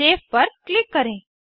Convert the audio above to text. save पर click करें